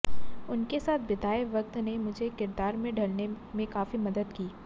उनके साथ बिताए वक्त ने मुझे किरदार में ढलने में काफी मदद की